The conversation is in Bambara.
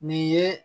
Nin ye